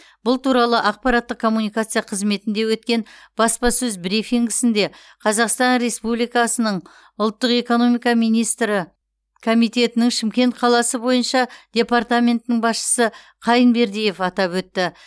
бұл туралы ақпараттық коммуникация қызметінде өткен баспасөз брифингісінде қазақстан республикасының ұлттық экономика министрі комитетінің шымкент қаласы бойынша департаментінің басшысы қайынбердиев атап өтті